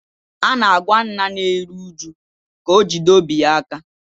A na-agwa nna na-eru uju ka o jide obi ya aka